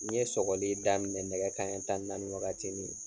N ye sɔgɔli daminɛ nɛgɛ kanɲɛ tan ni naani wagati nin.